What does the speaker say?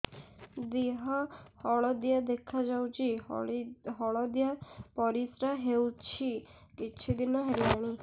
ଦେହ ହଳଦିଆ ଦେଖାଯାଉଛି ହଳଦିଆ ପରିଶ୍ରା ହେଉଛି କିଛିଦିନ ହେଲାଣି